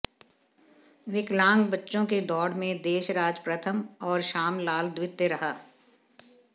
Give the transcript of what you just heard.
विकलांग बच्चों की दौड़ में देशराज प्रथम और शामलाल द्वितीय रहा